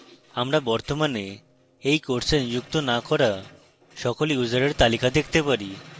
আমরা বর্তমানে we course নিযুক্ত না করা সকল ইউসারের তালিকা দেখতে পারি